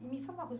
Me fala uma coisa.